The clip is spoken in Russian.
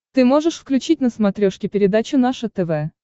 ты можешь включить на смотрешке передачу наше тв